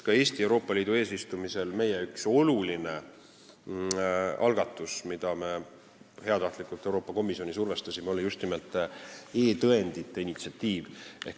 Ka Eesti Euroopa Liidu eesistumise ajal oli meie üks olulisi algatusi, millega me heatahtlikult Euroopa Komisjoni survestasime, just nimelt e-tõendite initsiatiiv.